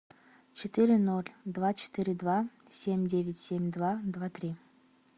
четыре ноль два четыре два семь девять семь два два три